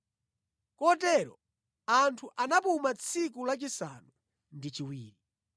Kotero anthu anapuma tsiku lachisanu ndi chiwiri.